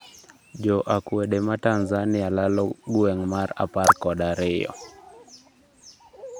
Jo akwede ma Tanzania lalo gweng' mar apar kod ariyo